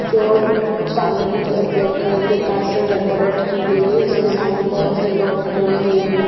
जो सामने की तरफ ब्लैक कलर के कांच से डेकोरेट की गयी है उसके सामने बोहोत से लोग खड़े हुए है।